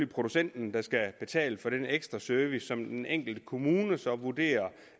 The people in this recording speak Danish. producenten der skal betale for den ekstra service som den enkelte kommune så vurderer